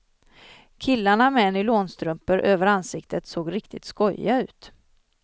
Killarna med nylonstrumpor över ansiktet såg riktigt skojiga ut.